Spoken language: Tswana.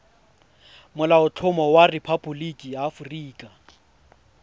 molaotlhomo wa rephaboliki ya aforika